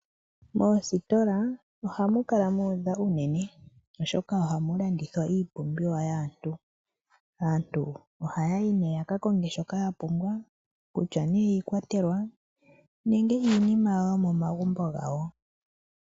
Moositola ohamu kala muudha unene oshoka ohamu landithwa iipumbiwa yaantu oha yayi yakakonge shoka yapumbwa kutya ne iikwatelwa nenge iinima yomomagumbo gawo.